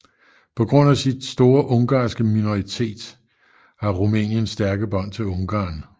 På grund af sin store ungarske minoritet har Rumænien stærke bånd til Ungarn